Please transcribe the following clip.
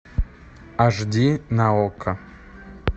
аш ди на окко